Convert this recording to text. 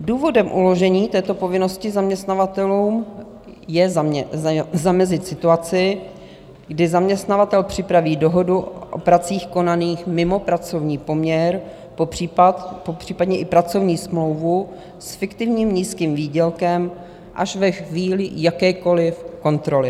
Důvodem uložení této povinnosti zaměstnavatelům je zamezit situaci, kdy zaměstnavatel připraví dohodu o pracích konaných mimo pracovní poměr, popřípadě i pracovní smlouvu s fiktivním nízkým výdělkem až ve chvíli jakékoliv kontroly.